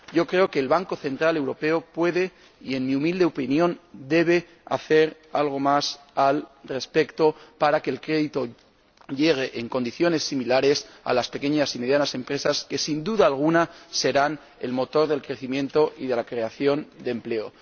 Yo creo que el Banco Central Europeo puede —y, en mi humilde opinión, debe— hacer algo más al respecto, para que el crédito llegue en condiciones similares a las pequeñas y medianas empresas que, sin duda alguna, serán el motor del crecimiento y de la creación de empleo.